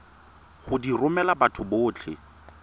go di romela batho botlhe